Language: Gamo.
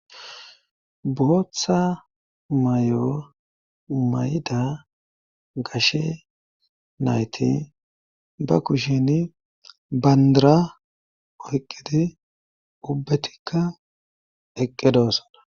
booththa mayo mayda gashe nayti ba kusheni bandra oyqqidi ubbetikka eqqi doossona